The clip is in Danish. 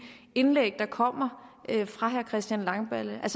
indlæg der kommer fra herre christian langballe er